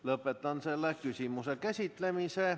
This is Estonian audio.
Lõpetan selle küsimuse käsitlemise.